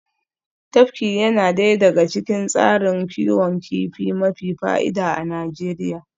Tafki yana daya daga cikin tsarin kiwon kifi mafi fa'ida a Najeriya